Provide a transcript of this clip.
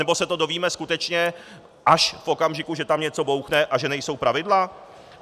Anebo se to dozvíme skutečně až v okamžiku, že tam něco bouchne a že nejsou pravidla?